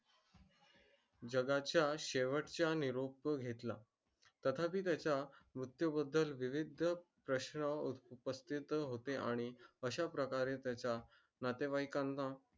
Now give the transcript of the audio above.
जगाचा शेवचा निरोप घेतला तथापी त्याच्या मुर्त्यू बद्दल विविध प्रश्न उत्पत्तीत होते आणि अश्या प्रकारे त्याच्या नातेवयकानं